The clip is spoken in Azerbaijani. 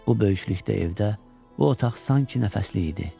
Bu böyüklükdə evdə bu otaq sanki nəfəsliy idi.